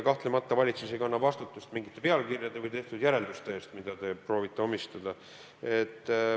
Kahtlemata valitsus ei kanna vastutust mingite pealkirjade või tehtud järelduste eest, mida te proovite omistada.